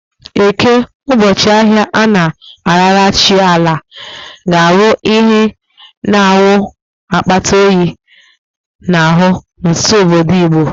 Eke, ụbọchị ahịa a na-arara chi Ala, ga-abụ ihe na-awụ akpata oyi n'ahụ n'ọtụtụ obodo Igbo.